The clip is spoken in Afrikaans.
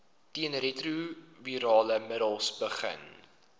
teenretrovirale middels begin